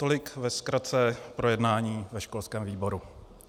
Tolik ve zkratce k projednání ve školském výboru.